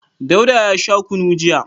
Dauda ya sha kunu jiya.